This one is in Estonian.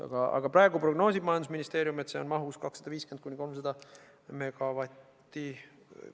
Praegu aga prognoosib majandusministeerium, et see maht on 250–300 megavatti.